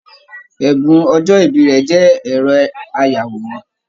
Ẹbùn ọjọ ìbí rẹ jẹ ẹrọ ayàwòrán.